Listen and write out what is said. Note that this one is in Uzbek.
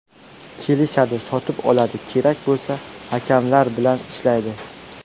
Kelishadi, sotib oladi, kerak bo‘lsa, hakamlar bilan ‘ishlaydi’.